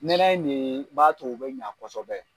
Nɛnɛ in ne b'a to u bɛ ɲa kosɛbɛ.